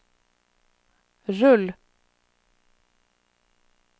rull